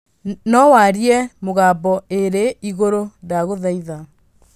no warie na Mũgambo ĩrĩ igũrũ ndagũthaitha